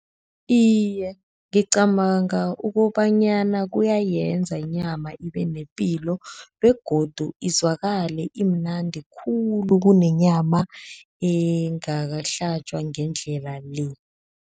Iye, ngicabanga ukobanyana kuyenza inyama ibenepilo begodu izwakale imnandi khulu kunenyama engakahlatjwa ngendlela le.